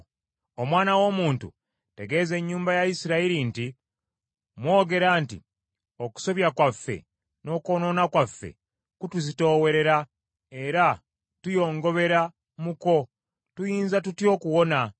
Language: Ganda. “Omwana w’omuntu, tegeeza ennyumba ya Isirayiri nti, Mwogera nti, ‘Okusobya kwaffe n’okwonoona kwaffe kutuzitoowerera, era tuyongobera mu kwo, tuyinza tutya okuwona?’